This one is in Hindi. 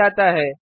पर जाता है